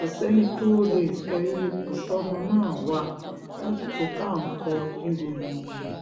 kò sẹ́ni tó lè sọ irú ipò tọ́mọ náà wà lásìkò tá à ń kọ ìròyìn yìí